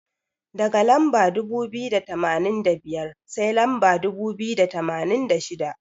Daga lamba dubu biyu da tamanin da biyar, sai lamba dubu biyu da tamanin da shida.